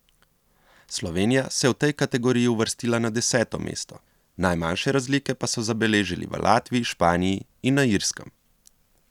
Slovenija se je v tej kategoriji uvrstila na deseto mesto, najmanjše razlike pa so zabeležili v Latviji, Španiji in na Irskem.